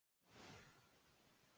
Þá segi ég.